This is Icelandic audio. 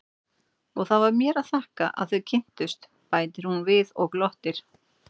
Og það var mér að þakka að þið kynntust, bætir hún við og glottir.